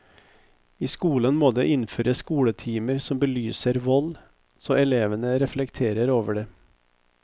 I skolen må det innføres skoletimer som belyser vold, så elevene reflekterer over det.